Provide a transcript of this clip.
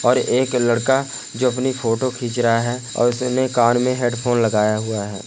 और एक लड़का जो अपनी फोटो खींच रहा है और उसने कान में हैडफ़ोन लगाया हुआ है।